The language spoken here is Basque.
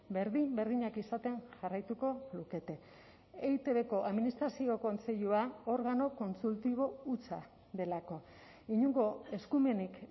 berdin berdinak izaten jarraituko lukete eitbko administrazio kontseilua organo kontsultibo hutsa delako inongo eskumenik